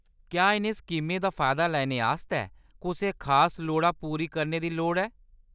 क्या इʼनें स्कीमें दा फायदा लैने आस्तै कुसै खास लोड़ा पूरी करने दी लोड़ ऐ ?